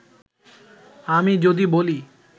আমি যদি বলি